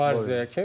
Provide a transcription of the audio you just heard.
Di Marziya ki.